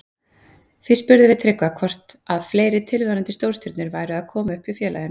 Því spurðum við Tryggva hvort að fleiri tilvonandi stórstjörnur væru að koma upp hjá félaginu.